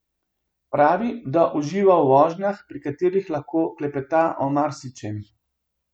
Pravi, da uživa v vožnjah, pri katerih lahko klepeta o marsičem.